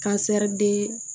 Kasɛri de